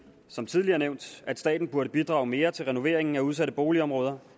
som tidligere nævnt at staten burde bidrage mere til renoveringen af udsatte boligområder